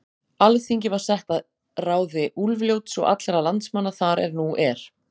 Alþingi var sett að ráði Úlfljóts og allra landsmanna þar er nú er.